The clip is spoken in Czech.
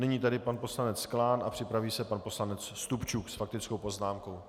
Nyní tedy pan poslanec Klán a připraví se pan poslanec Stupčuk s faktickou poznámkou.